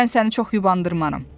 Mən səni çox yubandırmaram.